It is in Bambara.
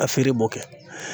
a feere bɔ kɛ